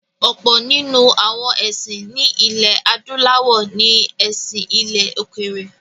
Ọ̀pọ̀ nínú àwọn ẹ̀sìn ní ilẹ̀-adúláwọ̀ ní “ẹ̀sìn ilẹ̀-òkèèrè”.